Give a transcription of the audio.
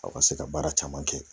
Aw ka se ka baara caman kɛ